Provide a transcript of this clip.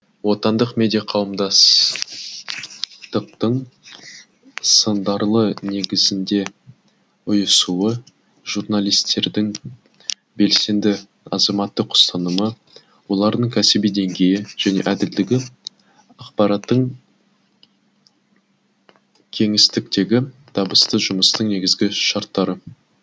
отандық медиа қауымдастықтың сындарлы негізінде ұйысуы журналистердің белсенді азаматтық ұстанымы олардың кәсіби деңгейі және әділдігі ақпараттың кеңістіктегі табысты жұмыстың негізгі шарттары